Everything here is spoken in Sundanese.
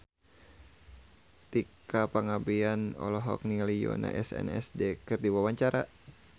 Tika Pangabean olohok ningali Yoona SNSD keur diwawancara